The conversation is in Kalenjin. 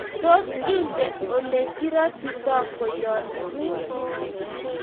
Tos, ingen olegiratitoi kwenyonikguk?